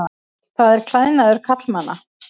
Það er klæðnaður karlmanna.